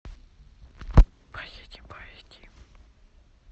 поедем поедим